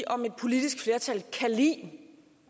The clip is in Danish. om et politisk flertal kan lide